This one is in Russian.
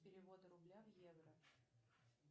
перевод рубля в евро